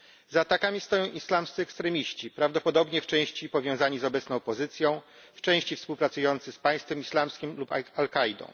Za atakami stoją islamscy ekstremiści, prawdopodobnie w części powiązani z obecną opozycją, w części współpracujący z Państwem Islamskim lub Al Kaidą.